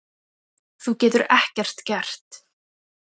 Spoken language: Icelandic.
Þú getur ekkert gert.